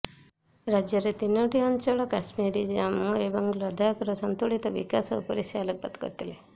ରାଜ୍ୟର ତିନୋଟି ଅଂଚଳ କାଶ୍ମୀର ଜାମ୍ମୁ ଏବଂ ଲଦାଖର ସନ୍ତୁଳିତ ବିକାଶ ଉପରେ ସେ ଆଲୋକପାତ କରିଥିଲେ